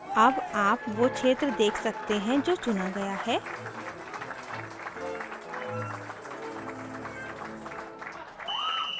अब आप now क्षेत्र देख सकते हैं जो चुना गया है